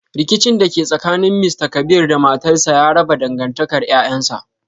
Rikicin da ke tsakanin Mr kabir da matarsa ya raba dangantakar 'ƴa'ƴansa.